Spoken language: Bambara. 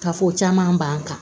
Ka fɔ caman ban kan